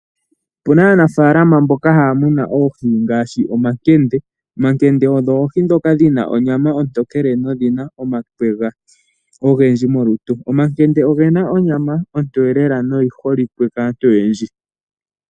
Opu na aanafaalama mboka haya munu oohi ngaashi omakende. Omakende odho oohi ndhoka dhi na onyama ontokele nodhi na omakwega ogendji molutu. Omakende oge na onyama ontoye lela noyi holike kaantu oyendji.